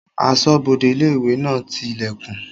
Asọ́bodè ilé-ìwé náà ti ilẹ̀kùn